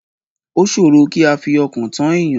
O ṣòrò kí a fi ọkàn tán èèyàn.